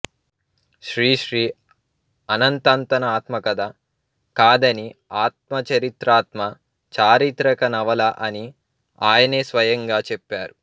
శ్రీశ్రీ అనంతంతన ఆత్మకథ కాదనిఆత్మచరిత్రాత్మ చారిత్రక నవల అని ఆయనే స్వయంగా చెప్పారు